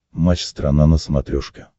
матч страна на смотрешке